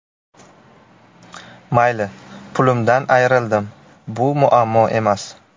Mayli, pulimdan ayrildim, bu muammo emas.